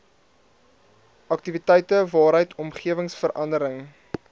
aktiwiteite waaruit omgewingsverandering